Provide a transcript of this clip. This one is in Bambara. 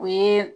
O ye